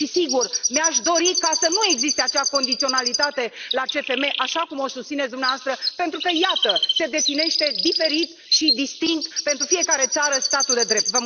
Și, sigur, mi aș dori să nu existe acea condiționalitate la CFM, așa cum o susțineți dumneavoastră, pentru că, iată, se definește diferit și distinct pentru fiecare țară statul de drept.